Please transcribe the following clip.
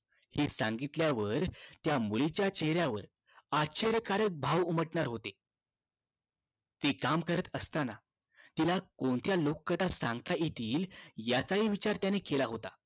हे सांगितल्यावर त्या मुलीच्या चेहऱ्यावर आश्चर्य कारक भाव उमटणार होते ती काम करत असताना तिला कोणत्या लोककथा सांगता येतील याचा हि विचार त्याने केला होता